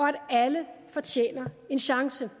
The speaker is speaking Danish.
at alle fortjener en chance